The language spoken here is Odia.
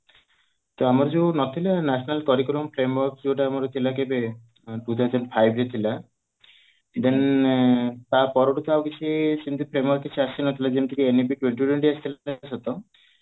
ତ ଆମର ଯୋଉ ନଥିଲା national curriculum ଯୋଉଟା କି two thousand five ରେ ଥିଲା then ତାପରଠୁ ତ ଆଉ କିଛି ସେମିତି କିଛି ଆସି ନଥିଲା ଯେମିତି କି